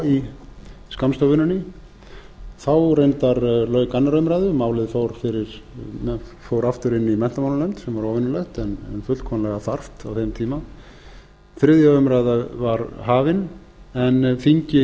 í skammstöfuninni þá reyndar lauk annarrar umræðu og málið fór aftur inn í menntamálanefnd sem er óvenjulegt en fullkomlega þarft á þeim tíma þriðja umræða var hafin en þingi